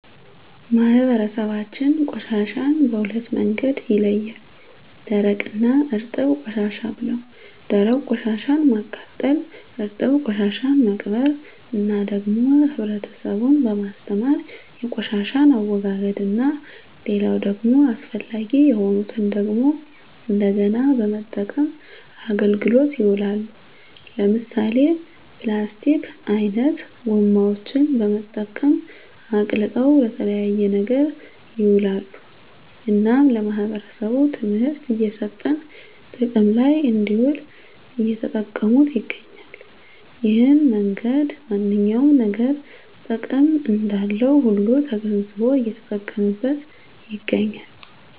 ማህበረሰባችን ቆሻሻን በሁለት መንገድ ይለያል ደረቅ እና እርጥብ ቆሻሻ ብለው ደረቅ ቆሻሻን ማቃጠል እርጥብ ቆሻሻን መቅበር እና ደግሞ ህብረተሰቡን በማስተማር የቆሻሻን አወጋገድ እና ሌላው ደግሞ አስፈላጊ የሆኑትን ደግሞ እንደገና በመጠቀም አገልግሎት ይውላሉ ለምሳሌ ፕላስቲክ አይነት ጎማዎችን በመጠቀም አቅልጠው ለተለያየ ነገር ይውላሉ እናም ለማህበረሰቡ ትምህርት እየሰጠን ጥቅም ለይ እንድውል እየተጠቀሙት ይገኛሉ እሄን መንገድ ማንኛውም ነገር ጥቅም እንዳለው ሁሉ ተገንዝቦ እየተጠቀመበት ይገኛል